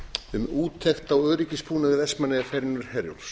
um úttekt á öryggisbúnaði vestmannaeyjaferjunnar herjólfs